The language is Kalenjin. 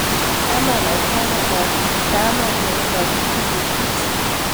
Kamanon ko kamet tab kamet nebo lakok tibik buch.